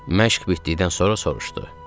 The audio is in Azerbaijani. Məşq bitdikdən sonra soruşdu.